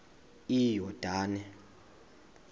iyordane